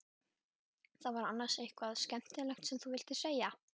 Var það annars eitthvað sérstakt sem þú vildir segja?